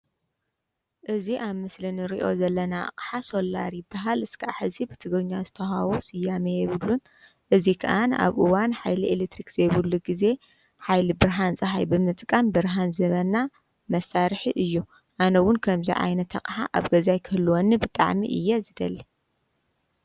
እዚ ምስሊ ናይ መብራህቲ ፀሓይ ሶላር እዩ መብራህቲ ኣብዘይብሉ ንጥቀመሉ እዩ።